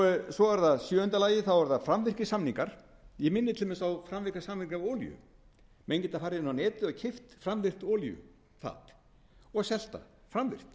samningar ég minni til dæmis á framvirka samninga á olíu menn geta farið inn á netið og keypt framleitt olíufat og selt það fram sama fatið